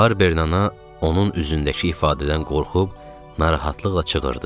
Barbernana onun üzündəki ifadədən qorxub, narahatlıqla çığırdı.